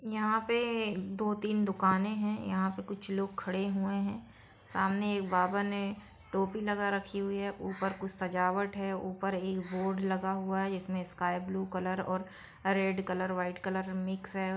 यहां पर दो-तीन दुकाने है यहाँ पे कुछ लोग खड़े हुए सामने एक बाबा ने टोपी लगा रखी हुई है ऊपर कुछ सजावट है ऊपर एक बोर्ड लगा हुआ है इसमें sky blue colour red colour और वाइट कलर मिक्स है।